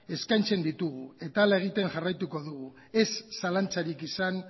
eskaintzen ditugu eta horrela egiten jarraituko dugu ez zalantzarik izan